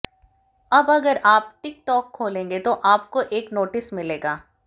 अब अगर आप टिकटॉक खोलेंगे तो आपको एक नोटिस मिलेगा